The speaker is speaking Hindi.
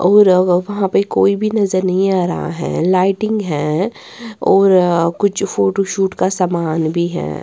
और वहां पे कोई भी नजर नहीं आ रहा है लाइटिंग है और कुछ फोटो शूट का सामान भी है।